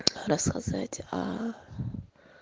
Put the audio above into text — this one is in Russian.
рассказать о